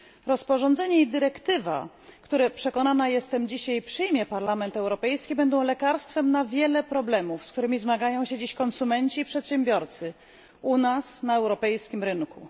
Rozporządzenie i dyrektywa, które przekonana jestem dzisiaj przyjmie Parlament Europejski, będą lekarstwem na wiele problemów, z którymi zmagają się dziś konsumenci i przedsiębiorcy u nas, na europejskim rynku.